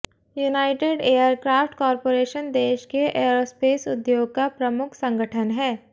United Aircraft Corporation देश के aerospace उद्योग का प्रमुख संगठन है